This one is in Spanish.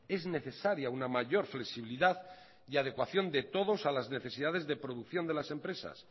es necesaria una mayor flexibilidad y adecuación de todos a las necesidades de producción de las empresas